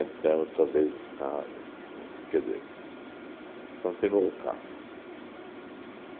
outra vez no carro, quer dizer, continuou o carro.